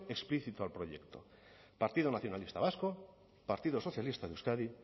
explícito al proyecto partido nacionalista vasco partido socialista de euskadi